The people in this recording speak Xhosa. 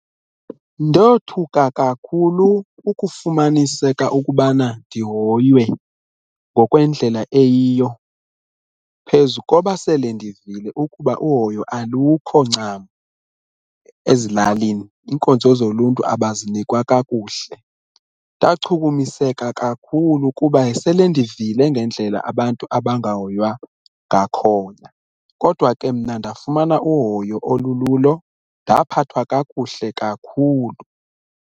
Ndothuka kakhulu ukufumaniseka ukubana ndihoywe ngokwendlela eyiyo, phezu koba sele ndivile ukuba uhoyo alukho ncam ezilalini, iinkonzo zoluntu abazinikwa kakuhle. Ndachukumiseka kakhulu kuba sele ndivile ngendlela abantu abangahoywa ngakhona kodwa ke mna ndafumana uhoyo olululo ndaphathwa kakuhle kakhulu.